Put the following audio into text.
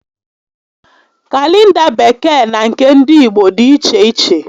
Kalenda Bekee na nke ndị Igbo dịiche iche